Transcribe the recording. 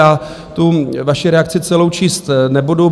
Já tu vaši reakci celou číst nebudu.